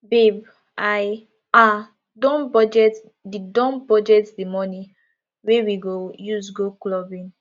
babe i um don budget the don budget the money wey we go use go clubbing